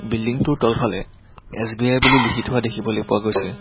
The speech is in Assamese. বিল্ডিং টোৰ তলফালে এছ_বি_আই বুলি লিখি থোৱা দেখিবলৈ পোৱা গৈছে।